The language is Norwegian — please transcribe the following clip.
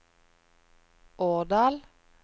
Årdal